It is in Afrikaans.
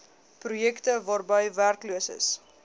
projekte waarby werkloses